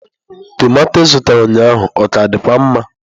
Tọmatọ ị zụtara ụnyaahụ ọ ka dịkwa mma?